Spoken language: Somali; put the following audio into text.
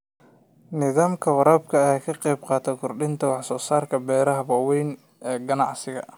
Nidaamka waraabka ayaa ka qaybqaata kordhinta wax-soosaarka beeraha waaweyn ee ganacsiga.